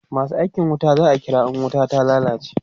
masu aikin wuta za'a kira in wuta ta lallace